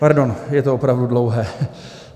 Pardon, je to opravdu dlouhé.